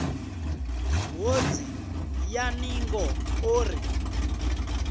ṱhodzi ya ningo o ri